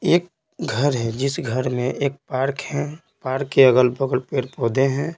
एक घर है जिस घर में एक पार्क है पार्क के अगल-बगल पेड़ पौधे हैं।